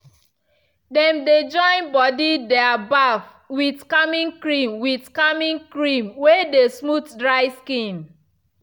them dey join body their baff with calming cream with calming cream way dey smooth dry skin.